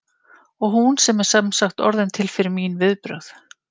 Og hún er sem sagt orðin til fyrir mín viðbrögð.